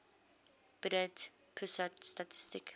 badan pusat statistik